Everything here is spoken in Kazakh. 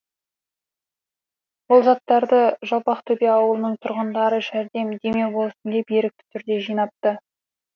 бұл заттарды жалпақтөбе ауылының тұрғындары жәрдем демеу болсын деп ерікті түрде жинапты